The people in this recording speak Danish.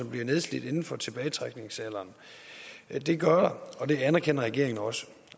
bliver nedslidt inden for tilbagetrækningsalderen det gør der og det anerkender regeringen også